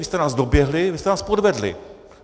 Vy jste nás doběhli, vy jste nás podvedli.